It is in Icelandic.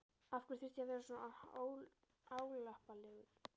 Af hverju þurfti ég að vera svona álappalegur?